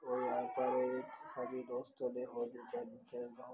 और यहाँ पर इच सभी दोस्तों ने होली वाली खेल रहा हो ।